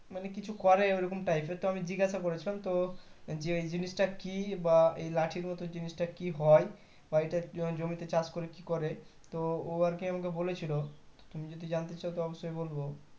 মানে কিছু করে ওই রকম type এর তো আমি জিজ্ঞাসা করেছিলাম তো জি জিনিসটা কি বা এই লাঠির মতো জিনিসটা কি হয় হয়তো এটা জমিতে চাষ করে কি করে তো ও আরকি আমাকে বলে ছিল তুমি যদি জানতে চাও তো অবশই বল।